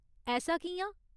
ऐसा कि'यां ?